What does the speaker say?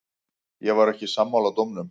Ég var ekki sammála dómnum.